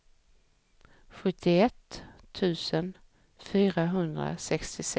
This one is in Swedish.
sjuttioett tusen fyrahundrasextiosex